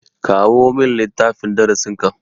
Kawo min littafin darasin ka.